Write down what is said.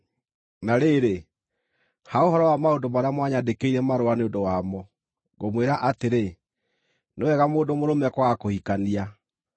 Na rĩrĩ, ha ũhoro wa maũndũ marĩa mwanyandĩkĩire marũa nĩ ũndũ wamo, ngũmwĩra atĩrĩ: Nĩ wega mũndũ mũrũme kwaga kũhikania.